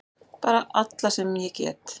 Bara alla sem ég get!